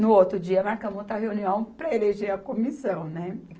No outro dia, marcamos outra reunião para eleger a comissão, né?